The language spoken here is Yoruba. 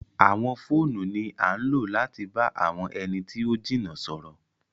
Àwọn fóònú ni àn lo lati ba awọn ẹni ti o jina sọrọ